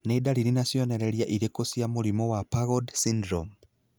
Nĩ dariri na cionereria irĩkũ cia mũrimũ wa PAGOD syndrome?